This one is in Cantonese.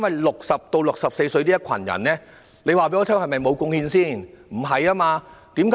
60歲至64歲這群長者難道沒有貢獻嗎？